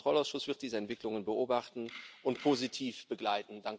Der Haushaltskontrollausschuss wird diese Entwicklungen beobachten und positiv begleiten.